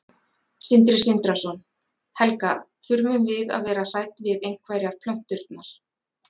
Sindri Sindrason: Helga, þurfum við að vera hrædd við einhverjar plönturnar?